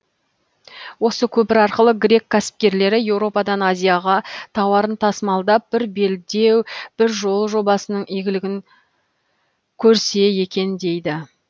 осы көпір арқылы грек кәсіпкерлері еуропадан азияға тауарын тасымалдап бір белдеу бір жол жобасының игілігін көрсекунд дейді